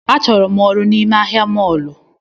A chọrọ m ọrụ n’ime ahịa mọlu